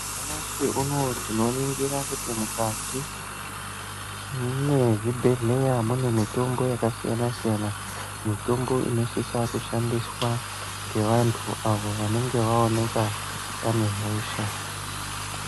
Nyamashi unowu tinoningira kuti mukati mezvibhedhlera mune mitombo yakasiyana siyana, mitombo inosisa kushandiswa nevantu avo vanenge vaonekwa vane hosha.